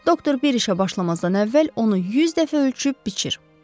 Doktor bir işə başlamazdan əvvəl onu 100 dəfə ölçüb biçir.